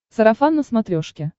сарафан на смотрешке